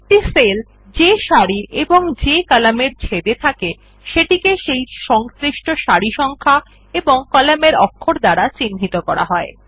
একটি সেল যে সারি এবং কলাম এর ছেদ এ থাকে সেটিকে সেই সংশ্লিষ্ট সারি সংখ্যা এবং কলাম অক্ষর দ্বারা চিহ্নিত করা হয়